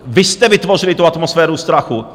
Vy jste vytvořili tu atmosféru strachu.